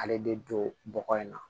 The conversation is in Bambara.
Ale de don bɔgɔ in na